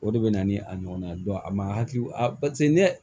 O de bɛ na ni a ɲɔgɔnna ye a ma hakili ne